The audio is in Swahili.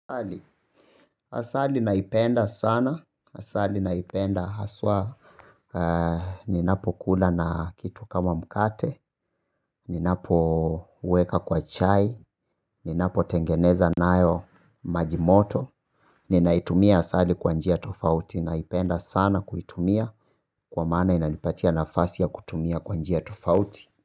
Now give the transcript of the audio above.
Asali, asali naipenda sana, asali naipenda haswa. Ninapo kula na kitu kama mkate, ninapoweka kwa chai, ninapotengeneza naayo majimoto ninaitumia asali kwanjia tofauti, naipenda sana kuitumia kwa mana inanipatia nafasi ya kutumia kwa njia tofauti.